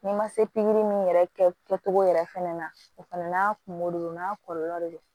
N'i ma se pikiri min yɛrɛ kɛcogo yɛrɛ fɛnɛ na o fana n'a kungo de don n'a kɔlɔlɔ de don